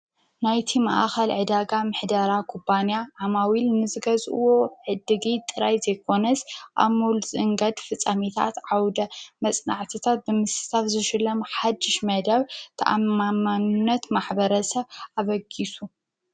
ናይቲ ማእኸል ዕዳጋ ምሕደራ ኩባንያ ዓማዊል ንዝገዝእዎ ዕድጊት ጥራይ እንተይኮነስ ኣብ ሞል ንዝእንገድ ፍፃመታት፣ ዓውደ መፅናዕትታት ብምስታፍ ዝሽለም ሓዱሽ መደብ ተኣማንነት ማሕበረሰብ ኣበጊሱ፡፡